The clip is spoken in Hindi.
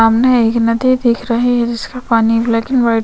सामने एक नदी दिख रही है जिसका पानी ब्लैक एंड वाइट --